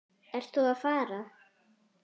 Ertu þá að fara?